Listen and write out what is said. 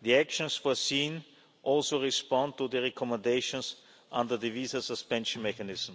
The actions foreseen also respond to the recommendations under the visa suspension mechanism.